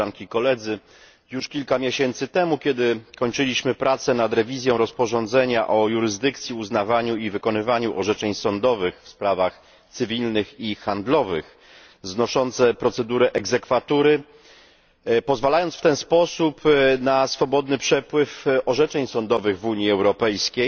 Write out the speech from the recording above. Już kilka miesięcy temu kiedy kończyliśmy pracę nad przeglądem rozporządzenia o jurysdykcji, uznawaniu i wykonywaniu orzeczeń sądowych w sprawach cywilnych i handlowych, znoszącym procedurę egzekwatury, pozwalając w ten sposób na swobodny przepływ orzeczeń sądowych w Unii Europejskiej